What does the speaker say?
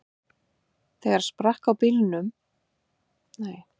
En þegar sprakk á bílnum klukkutíma síðar, var þolinmæði þeirra á þrotum.